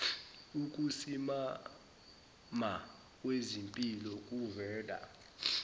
ukusimama kwezimpilo kuvela